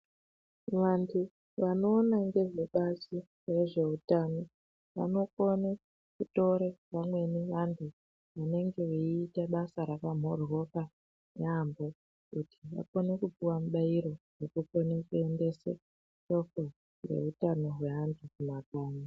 Vantu vanoona ngezvebazi rezveutano vanokone kutora vamweni vantu vanenge veiita basa rakamhoryoka yaamho kuti vakone kupiwa mibairo yekukone kuendeka kwehutano hwevantu kumakanyi.